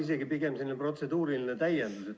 Või pigem selline protseduuriline märkus.